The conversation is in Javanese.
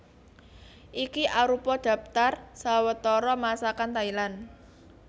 Iki arupa dhaptar sawetara Masakan Thailand